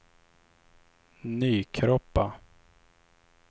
Nykroppa